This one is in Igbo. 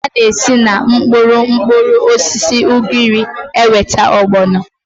A na-esi na mkpụrụ mkpụrụosisi ugiri enweta ọgbọnọ